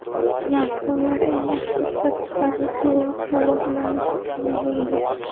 Smartfonlar eng yaxshi ishlab chiqaruvchi va quvvatlanish tizimiga ega.